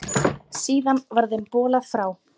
Síðar var þeim bolað frá.